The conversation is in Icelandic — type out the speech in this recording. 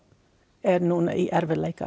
er núna í erfiðleikum